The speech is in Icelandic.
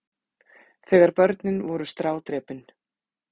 Þegar börnin voru strádrepin.